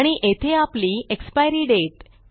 आणि येथे आपली एक्सपायरी दाते